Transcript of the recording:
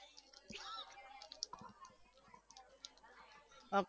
હમ